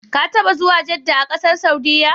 Ka taɓa zuwa Jedda a ƙasar Saudiyya?